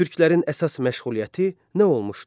Türklərin əsas məşğuliyyəti nə olmuşdur?